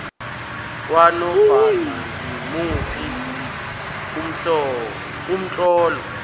kwanofana ngimuphi umtlolo